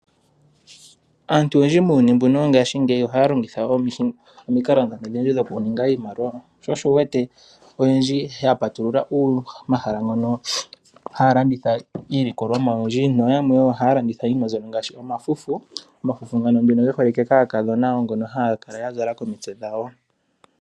Aantu oyendji muuyuni mbuno wongaashingeyi ohaya longitha omikalo ndhono odhindji dhoku ninga iimaliwa. Sho osho wu wete oyendji ya patulula omahala ngono haya landitha iilikolomwa oyindji noyamwe ohaya landitha iinima mbyono ngaashi omafufu. Omafufu ngano nduno ge holike kaakadhona wo ngono haya kala ya zala komitse dhawo.